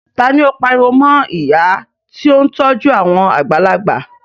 Ta ni ó pariwo mọ ìyá tí ó ń tọ́jú àwọn àgbàlagbà?